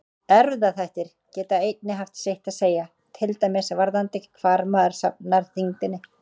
Erfðaþættir geta einnig haft sitt að segja, til dæmis varðandi hvar maður safnar þyngdinni.